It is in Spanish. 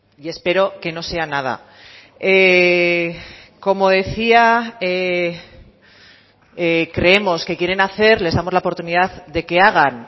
y espero que no sea nada como decía creemos que quieren hacer les damos la oportunidad de que hagan